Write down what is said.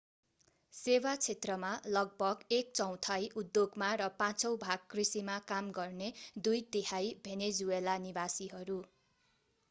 सेवा क्षेत्रमा लगभग एक चौथाइ उद्योगमा र पाँचौँ भाग कृषिमा काम गर्ने दुई तिहाइ भेनेजुएला निवासीहरू